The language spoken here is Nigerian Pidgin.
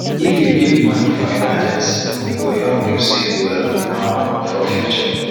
if you keep money for emergency e go help you save well um for future